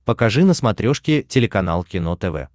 покажи на смотрешке телеканал кино тв